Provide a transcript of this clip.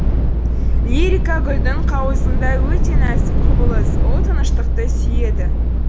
лирика гүлдің қауызындай өте нәзік құбылыс ол тыныштықты сүйеді